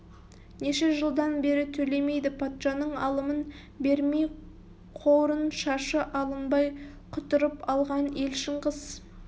неше жылдан бері төлемейді патшаның алымын бермей қорын шашы алынбай құтырып алған ел шыңғыс